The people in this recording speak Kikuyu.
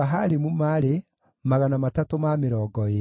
na Keroso, na Sia, na Padoni,